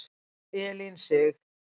Elín Sig.